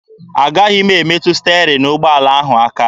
Agaghị m emetụ sterin ụgbọala ahụ aka.